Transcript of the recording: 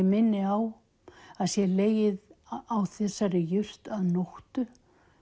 minni á að sé legið á þessari jurt að nóttu